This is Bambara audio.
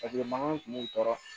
Paseke mankan kun b'u tɔɔrɔ